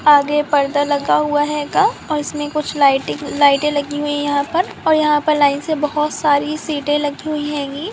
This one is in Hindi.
आगे पर्दा लगा हुआ हेगा और उसमे कुछ लाइटिंग लाइटे लगी हुई है यहां पर और यहां पर लाइन से बोहत सारी सीटे लगी हुई हेंगी।